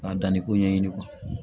K'a danniko ɲɛɲini